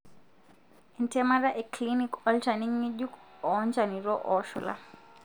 entemata eclinic olchani ngejuk o nchanito oshula.